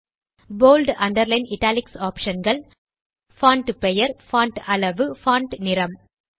bolt underline italics option கள் font பெயர் font அளவு பான்ட் நிறம்